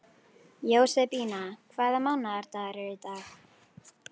Jósebína, hvaða mánaðardagur er í dag?